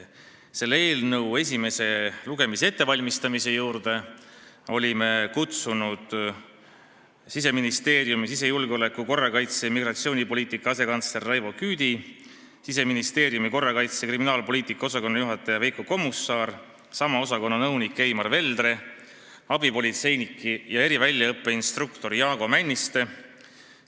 Selle eelnõu esimese lugemise ettevalmistamise juurde olime kutsunud Siseministeeriumi sisejulgeoleku, korrakaitse ja migratsioonipoliitika asekantsleri Raivo Küüdi, Siseministeeriumi korrakaitse- ja kriminaalpoliitika osakonna juhataja Veiko Kommusaare, sama osakonna nõuniku Eimar Veldre ning abipolitseiniku ja eriväljaõppeinstruktori Jaago Männiste.